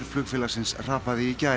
flugfélagsins hrapaði í gær